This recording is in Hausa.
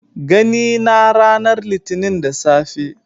Gani na ranar litinin da safe